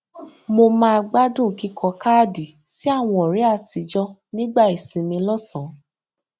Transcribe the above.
mo máa gbádùn kíkọ káàdì sí àwọn ọrẹ àtijọ nígbà ìsinmi lọsàn